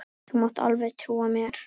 Þú mátt alveg trúa mér!